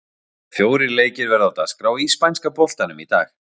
Fjórir leikir verða á dagskrá í spænska boltanum í dag.